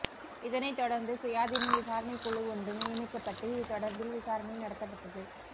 இதனை தொடர்ந்து சுயாதீன விசாரணைக் குழு ஒன்று நியமிக்கப்பட்டு இது தொடர்பில் விசாரணை நடத்தப்பட்டது